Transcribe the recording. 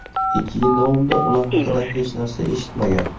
Ikki yil davomida ular haqida hech narsa eshitmagan.